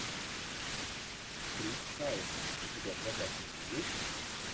крис пайн у тебя в загашнике есть